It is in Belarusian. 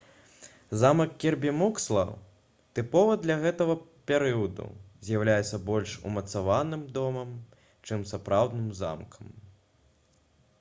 замак кірбі муксло тыповы для гэтага перыяду з'яўляецца больш умацаваным домам чым сапраўдным замкам